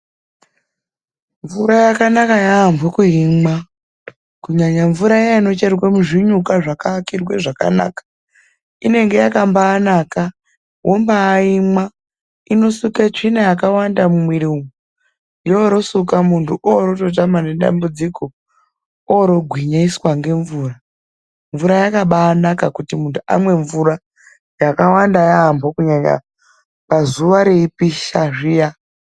Mvura yakanaka yaambo kuimwa kunyanya mvura iya inocherwe muzvinyuka zvakaakirwe zvakanaka, inenge yakambaanaka wombaaimwa, inosuke tsvina yakawanda mumwiiri umwu, yoorosuka muntu oorototama nedambudziko oorogwinyiswa ngemvura. Mvura yakabaanaka kuti muntu amwe mvura yakawanda yaambo kunyanya zuwa reipisha zviya.